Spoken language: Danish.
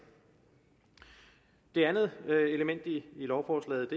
det andet element i lovforslaget